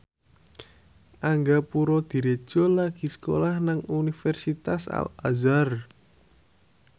Angga Puradiredja lagi sekolah nang Universitas Al Azhar